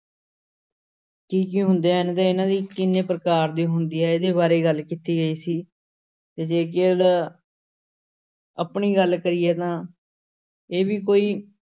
ਕੀ ਕੀ ਹੁੰਦੇ ਹਨ ਤੇ ਇਹਨਾਂ ਦੀ ਕਿੰਨੇ ਪ੍ਰਕਾਰ ਦੀ ਹੁੰਦੀ ਹੈ ਇਹਦੇ ਬਾਰੇ ਗੱਲ ਕੀਤੀ ਗਈ ਸੀ ਤੇ ਜੇਕਰ ਆਪਣੀ ਗੱਲ ਕਰੀਏ ਤਾਂ ਇਹ ਵੀ ਕੋਈ